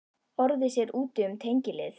. orðið sér úti um tengiliði.